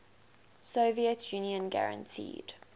soviet union guaranteed